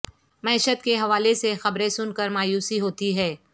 معیشت کے حوالے سے خبریں سن کر مایوسی ہوتی ہے